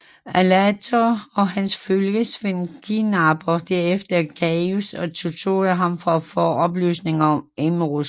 Alator og hans følgesvend kidnapper derefter Gaius og torturerer ham for at få oplysninger om Emrys